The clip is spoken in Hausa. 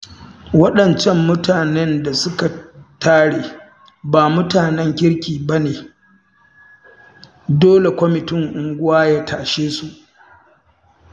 Waɗancan mutanen da suka tare ba mutanen kirki ba ne, dole kwamitin unguwa ya tashe su